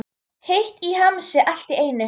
Heitt í hamsi allt í einu.